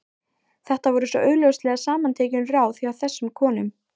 Þetta voru svo augljóslega samantekin ráð hjá þessum konum.